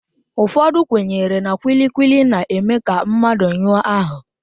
Ụfọdụ kwenyere na kwili kwili na-eme ka mmadụ nyụọ áhụ̀